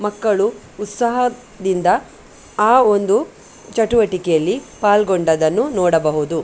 ಮಕ್ಕಳು ಉತ್ಸಾಹದಿಂದ ಆ ಒಂದು ಚಟುವಟಿಕೆಯಲ್ಲಿ ಪಾಲ್ಗೊಂಡದನ್ನು ನೋಡಬಹುದು .